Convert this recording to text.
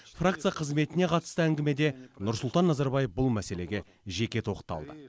фракция қызметіне қатысты әңгімеде нұрсұлтан назарбаев бұл мәселеге жеке тоқталды